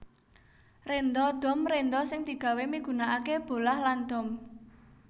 Rénda dom rénda sing digawé migunakaké bolah lan dom